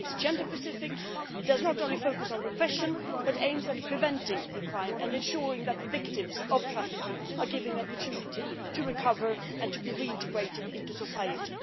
It is gender specific and does not only focus on repression but aims to prevent the crime and to ensure that the victims of trafficking are given the opportunity to recover and be reintegrated into society.